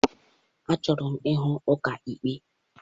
Achọrọ m ịhụ ọkaikpe.